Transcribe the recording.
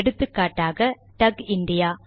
எடுத்துக்காட்டுக்கு டக் இந்தியா